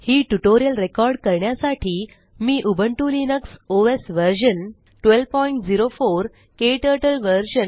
हिटयूटोरिअलरेकॉर्ड करण्यासाठी मी Ubuntu Linux OS version 1204 क्टर्टल व्हर्शन